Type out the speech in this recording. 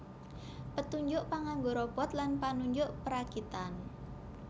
Petunjuk panganggo Robot lan panunjuk perakitan